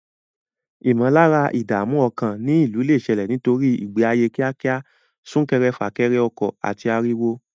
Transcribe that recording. Ìmọ̀lára ìdààmú ọkàn ní ìlú lè ṣẹlẹ̀ nítorí ìgbé ayé kíákíá, sún kéré fà kẹrẹ ọkọ̀, àti ariwo.